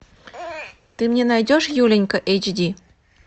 ты мне найдешь юленька эйч ди